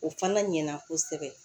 O fana ɲɛna kosɛbɛ